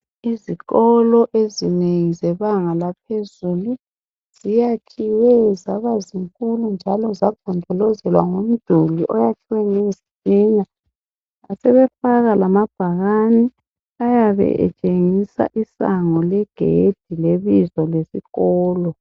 ezikolo ezinengi zebanga laphezulu ziyakhiwe zabazinkulu njalo zagonjolozelwa ngomduli oyakhiwe ngezitina basebefaka lamabhakane ayabe etshengisa isango le gedi le bizo lesikolo